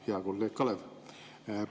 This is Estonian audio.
Hea kolleeg Kalev!